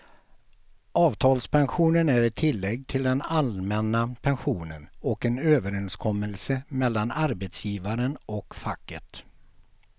Avtalspensionen är ett tillägg till den allmänna pensionen och en överenskommelse mellan arbetsgivaren och facket.